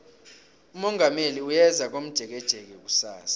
umongameli uyeza komjekejeke kusasa